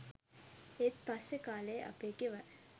ඒත් පස්සේ කා‍ලේ අපේ ගෙවල්